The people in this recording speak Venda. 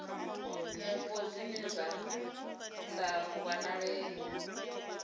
mupo zwine zwa sa wanalee